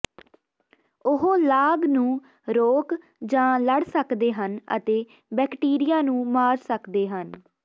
ਉਹ ਲਾਗ ਨੂੰ ਰੋਕ ਜਾਂ ਲੜ ਸਕਦੇ ਹਨ ਅਤੇ ਬੈਕਟੀਰੀਆ ਨੂੰ ਮਾਰ ਸਕਦੇ ਹਨ